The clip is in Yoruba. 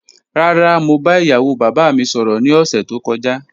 Rara, mo ba iyawo baba mi sọrọ ni ọsẹ to kọja